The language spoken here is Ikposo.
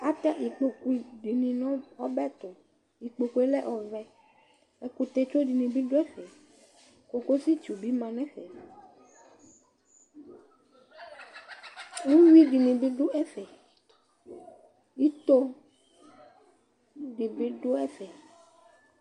atɛ ikpɔkʋ dininʋ ɔbɛtʋ, ikpɔkʋɛ lɛ ɔvɛ ɛkʋtɛ twɔ dini bi dʋ ɛƒɛ, kɔkɔsi tsʋ bi manʋ ɛƒɛ, ʋwii dinʋ manʋ ɛƒɛ, itɔ dibi dʋ ɛƒɛ